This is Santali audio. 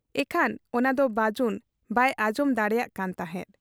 ᱤᱠᱷᱟᱹᱱ ᱚᱱᱟᱫᱚ ᱵᱟᱹᱡᱩᱱ ᱵᱟᱭ ᱟᱸᱡᱚᱢ ᱫᱟᱲᱮᱭᱟᱜ ᱠᱟᱱ ᱛᱟᱦᱮᱸᱫ ᱾